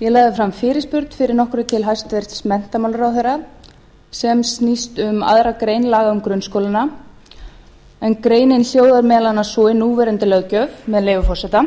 ég lagði fram fyrirspurn fyrir nokkru til hæstvirts menntamálaráðherra sem snýst um aðra grein laga um grunnskólana en greinin hljóðar meðal annars svo í núverandi löggjöf með leyfi forseta